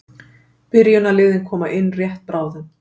Byrjunarliðin koma inn rétt bráðum.